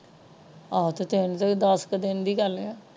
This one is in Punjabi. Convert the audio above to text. ਆ ਤੇ ਤਿੰਨ ਦੱਸ ਕੋ ਦਿਨ ਦੀ ਗੱਲ ਹੈ।